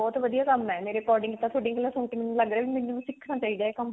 ਬਹੁਤ ਵਧੀਆ ਕੰਮ ਹੈ ਮੇਰੇ according ਤਾਂ ਥੋਡੀਆਂ ਗੱਲਾਂ ਸੁਣ ਏ ਮੈਨੂੰ ਲੱਗ ਰਿਹਾ ਮੈਨੂੰ ਵੀ ਸਿੱਖਣਾ ਚਾਹੀਦਾ ਇਹ ਕੰਮ